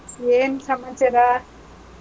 ಏನ್ ಸಮಾಚಾರ?